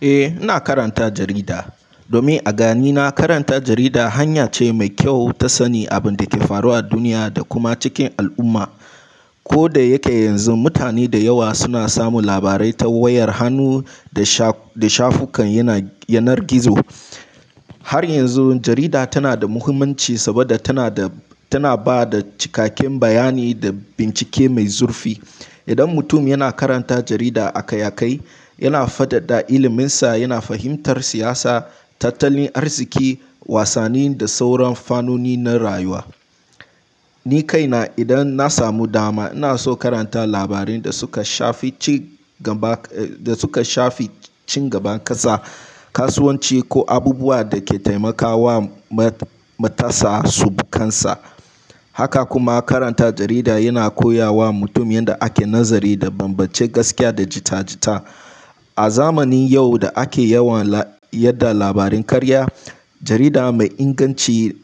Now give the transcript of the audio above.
Eh, ina karanta jarida. Domin a ganina karanta jarida hanya ce mai kyau ta sani abin da ke faruwa a duniya da kuma cikin al'umma. Ko da yake yanzu mutane da yawa suna samun labarai ta wayar hannu da sha-da shafukan yanar gizo, har yanzu jarida tana da muhimmanci saboda tana ba da cikakken bayani da bincike mai zurfi. Idan mutum yana karanta jarida akai-akai, yana fadada iliminsa, yana fahimtar siyasa, tattalin arziki, wasanni da sauran fannoni na rayuwa. Ni kaina idan na samu dama, ina so karanta labarin da suka shafi ci gaba, da suka shafi ci gaban ƙasa, kasuwanci ko abubuwa da ke taimakawa matasa su bukansa. Haka kuma karanta jarida yana koya wa mutum yadda ake nazari da bambance gaskiya da jita-jita. A zamanin yau da ake yawan yadda labarin karya, jarida mai inganci